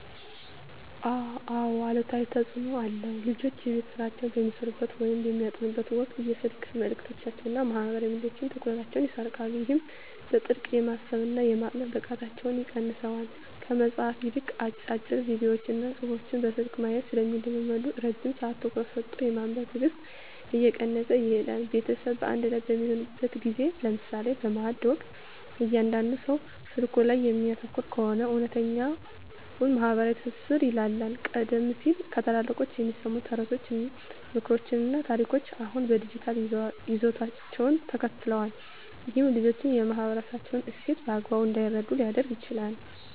አዎ አሉታዊ ተፅኖ አለው። ልጆች የቤት ሥራቸውን በሚሠሩበት ወይም በሚያጠኑበት ወቅት የስልክ መልእክቶችና ማኅበራዊ ሚዲያዎች ትኩረታቸውን ይሰርቁታል። ይህም በጥልቀት የማሰብና የማጥናት ብቃታቸውን ይቀንሰዋል። ከመጽሐፍት ይልቅ አጫጭር ቪዲዮዎችንና ጽሑፎችን በስልክ ማየት ስለሚለምዱ፣ ረጅም ሰዓት ትኩረት ሰጥቶ የማንበብ ትዕግሥታቸው እየቀነሰ ይሄዳል። ቤተሰብ በአንድ ላይ በሚሆንበት ጊዜ (ለምሳሌ በማዕድ ወቅት) እያንዳንዱ ሰው ስልኩ ላይ የሚያተኩር ከሆነ፣ እውነተኛው ማኅበራዊ ትስስር ይላላል። ቀደም ሲል ከታላላቆች የሚሰሙ ተረቶች፣ ምክሮችና ታሪኮች አሁን በዲጂታል ይዘቶች ተተክተዋል። ይህም ልጆች የማኅበረሰባቸውን እሴት በአግባቡ እንዳይረዱ ሊያደርግ ይችላል።